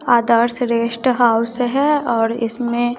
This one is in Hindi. आदर्श रेस्ट हाउस है और इसमें--